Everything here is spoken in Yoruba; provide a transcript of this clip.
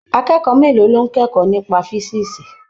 Akẹ́kọ̀ọ́ mélòó ló ń kẹ́kọ̀ọ́ nípa físíìsì?